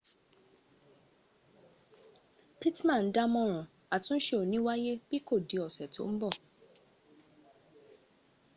pittman dámọ̀ràn àtúnse ò ní wáyé bí kò di ọ̀sẹ̀ tó ń bọ̀